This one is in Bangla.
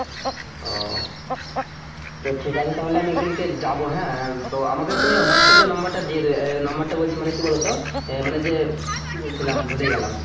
ও তো ঠিক আছে তাহলে আমি একদিন করে যাবো হ্যা তো আমাকে তুমি WhatsApp নাম্বার টা দিয়ে দিও আহ নম্বার বলছি মানে কি বলোতো আহ মানে যে কি বলছিলাম ভুলে গেলাম